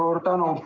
Suur tänu!